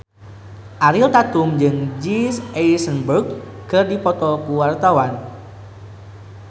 Ariel Tatum jeung Jesse Eisenberg keur dipoto ku wartawan